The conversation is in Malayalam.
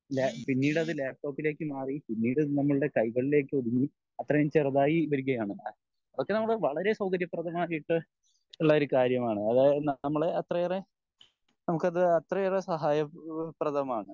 പിന്നീട് അത് ലാപ്ടോപ്പിലേക്കും മാറി പിന്നീട് നമ്മളുടെ കൈകളിലേക്കും ഒതുങ്ങി അത്രേം ചെറുതായി വരികയാണ് അതൊക്കെ നമ്മള് വളരേ സൗകര്യപ്രദമായിട്ട് ഉള്ള ഒരു കാര്യമാണ് അതായത് നമ്മൾ അത്രയേറെ നമുക്ക് അത് അത്രയേറെ സഹായപ്രദമാണ്